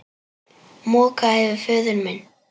Moka yfir föður minn.